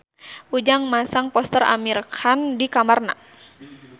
Ujang masang poster Amir Khan di kamarna